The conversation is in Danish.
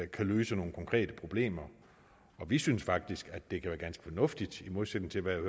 kan løse nogle konkrete problemer vi synes faktisk at det kan være ganske fornuftigt i modsætning til hvad